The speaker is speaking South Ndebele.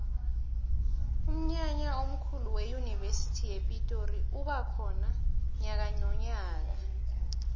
umnyanya omkhulu weyunivesi yepitori uba khona nyakanonyaka